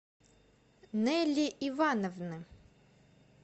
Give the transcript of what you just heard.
нелли ивановны